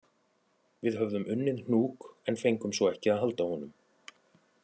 Við höfðum unnið hnúk en fengum svo ekki að halda honum